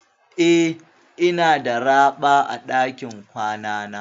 Eh, ina da raɓa a dakin kwanana.